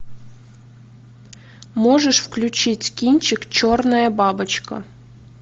можешь включить кинчик черная бабочка